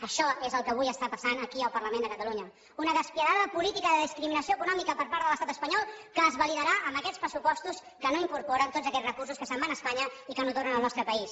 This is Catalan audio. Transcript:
això és el que avui està passant aquí al parlament de catalunya una despietada política de discriminació econòmica per part de l’estat espanyol que es validarà amb aquests pressupostos que no incorporen tots aquests recursos que se’n van a espanya i que no tornen al nostre país